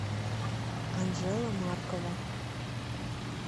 анжела маркова